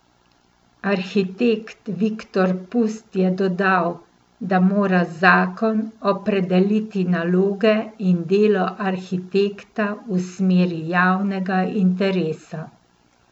Arhitekt Viktor Pust je dodal, da mora zakon opredeliti naloge in delo arhitekta v smeri javnega interesa.